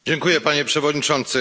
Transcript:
Panie Przewodniczący!